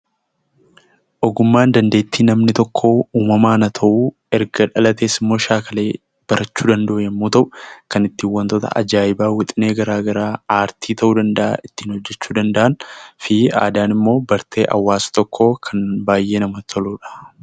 Ogummaan dandeettii namni tokko uumamaan haa ta'uu erga dhalatees immoo shaakalee barachuu danda'u yommuu ta'u, kan ittiin wantoota ajaa'ibaa wixinee garaagaraa aartii ta'uu danda'a ittiin hojjachuu danda'an, aadaan immoo bartee hawaasa tokkoo kan baay'ee namatti toludha.